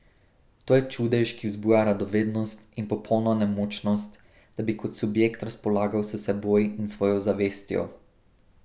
To je čudež, ki vzbuja radovednost, in popolna nemočnost, da bi kot subjekt razpolagal s seboj in svojo zavestjo.